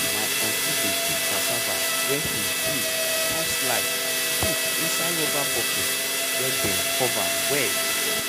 my uncle dey keep cassava way him peel cun slice put inside rubber bucket we dem cover well.